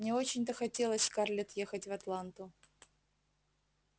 не очень-то хотелось скарлетт ехать в атланту